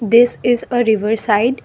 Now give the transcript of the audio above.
this is uh river side.